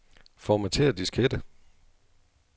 Formatér diskette.